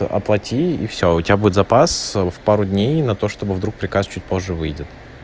апатии и всё у тебя будет запас в пару дней на то чтобы вдруг приказ чуть позже выйдет